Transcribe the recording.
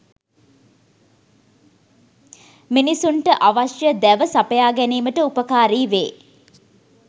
මිනිසුන්ට අවශ්‍ය දැව සපයා ගැනීමට උපකාරී වේ.